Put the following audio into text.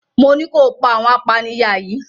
Mo ní kó pa àwọn apanìyà yìí!